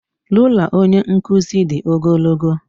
Rula onye nkuzi dị ogologo